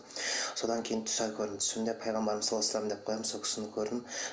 содан кейін түстер көрдім түсімде пайғамбарымыз салаллаху алейхи уассалам деп қоямын сол кісіні көрдім